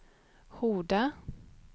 Horda